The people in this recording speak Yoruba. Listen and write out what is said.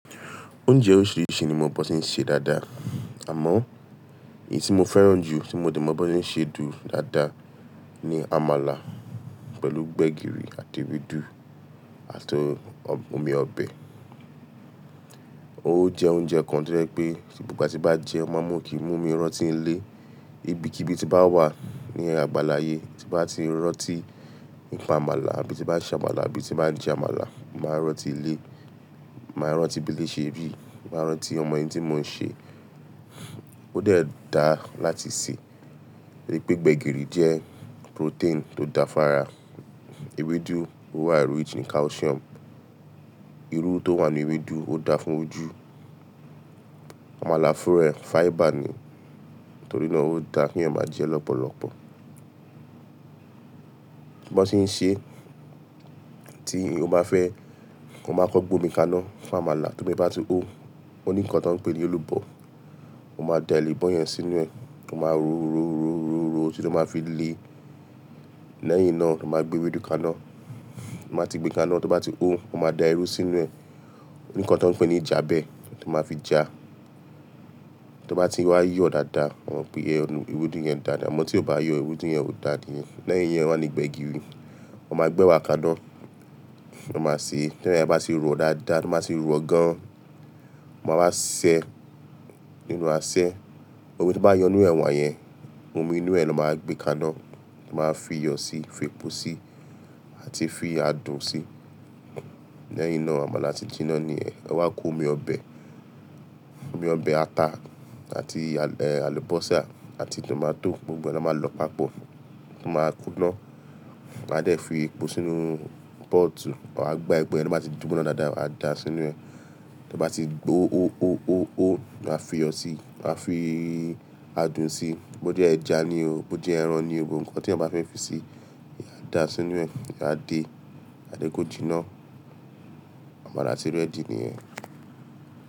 Oúnjẹ oríṣiríṣi ni mo mọ̀ bó ti ń ṣe dáadáa. Àmọ́ èyí tí mo fẹ́ràn jù tí mo dẹ̀ mọ̀ bó ti ń ṣe dùn dáadáa ni àmàlà pẹ̀lú gbẹ̀gìrì àti ewédú àti omi ọbẹ̀. Ó jẹ oúnjẹ kan to jẹ́ pé bí gbogbo ìgbà tí bá jẹun, o máa mú kí mumi rọ̀tí ń lé. Ibi kibii tí bá wà ní àgbàláye tí bá ti ń rọ̀tí, nípa àmàlà àbí tí bá se àmàlà, àbí tí bá jẹ àmàlà, máa rọ̀tí lé. Máa rọ̀tí bí ilé ṣe rí, máa rọ̀tí ọmọ ẹni tí mò ń ṣe. Ó dẹ́ da láti sè. Rí pé gbẹ̀gìrì jẹ́ protein tó da fún ara. Ewédú ó wà eré wíì ní calcium. Irú tó wà ní ewédú ó da fún ojú. Àmàlà fún rẹ̀ fiber ni, torí náà ó da kí yàn ma jẹ lọ́pọ̀lọpọ̀. Bó ṣe ṣe. Tí o bá fẹ́, mo máa kọ gbómi kaná fún àmàlà tí ómi bá ti hó. Ó ní ǹkan tó ń pè ní èlùbọ́, mo máa da èlùbọ́ yẹn sínú rẹ̀, mo máa rọ̀, rọ̀, rọ̀, rọ̀, rọ̀, rọ̀ títi to máa fi le. Lẹ́yìn náà ti báa gbé ewédú kaná. Ti gbé kaná tí ó bá ti hó, mo máa da irú sínú è Òní ǹkan tó ń pè ní jábẹ́ tí mo máa fi já. Tí ó bá ti wá yọ̀ dáadáa, wọ́n pè ẹ́ ẹnu ewédú yẹn dáadáa. Ìmọ̀ tí ò bá yọ ewédú yẹn ò dáa nìyẹn. Lẹ́yìn yẹn, wà ní gbẹ̀gìrì. Mo máa gbé wá kaná, mo máa sè é. Lẹ́yin tí a bá ti rọ̀ ọ́ dáadáa, to báa tì rọ̀ ọ́ gan. Mo wá sè ẹ́ nínú aṣẹ. Òun tí bá yọ inú ẹwà yẹn, omi inú ẹ lọ máa gbé kaná, máa fi yọ̀ síi, fi epo síi àti fi adùn síi. Lẹ́yìn náà àmàlà ti jiná ni ẹ. Ẹ wá ko omi ọbẹ̀, omi ọbẹ̀ ata àti, eh, àlùbọ́sà àti tòmátò gbogbo náà máa lọ papọ̀. Máa kuná, ma dẹ̀ fi epo sínú pọ́ọ̀tù, ma gba epo yẹn tọ́ báa ti gboná dáadáa, a da sínú rẹ̀. Tí ó bá ti hó, hó, hó, hó, hó, a fi iyọ̀ síi, a fi adùn síi. Bo jẹ́ ẹja ni o, bo jẹ́ ẹran ni o, gbogbo nkan tẹyan bá fẹ́ fi sí i, a dà á sínú rẹ̀, a dé, a dé kó jiná. Àmàlà ti ready niyẹ́n.